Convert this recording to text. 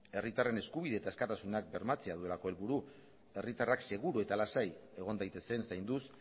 herritarren eskubide eta askatasuna bermatzea duelako helburu herritarrak seguru eta lasai egon daitezen zainduz